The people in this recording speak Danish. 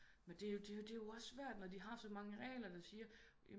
Men det jo det jo det jo svært når de har så mange regler der siger